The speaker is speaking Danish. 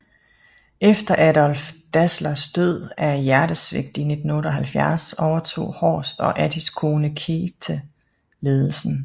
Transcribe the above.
Efter Adolf Dasslers død af hjertesvigt i 1978 overtog Horst og Adis kone Käthe ledelsen